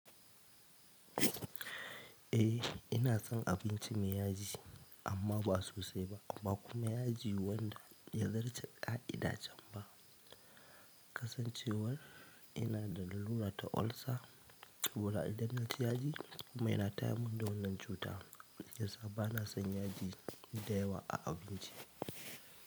Eh ina son abinci mai yaji amma ba sosai ba. Ba kuma yaji wanda ya zarce ƙa'ida can ba. Kasancewar ina da larura ta ulcer, kuga idan naci yaji kuma yana tayarmun da wannan cuta, shi yasa bana son yaji da yawa a abinci.